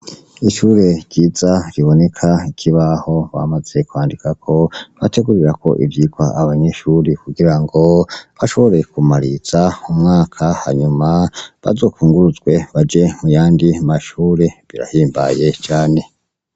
Ishure ryiza riboneka ikibaho bamaze kwandikako, bategurirako ivyigwa abanyeshure kugirango bashobore kumaririza umwaka hanyuma bazokwunguruzwe baje muyandi mashure birahimbaye cane.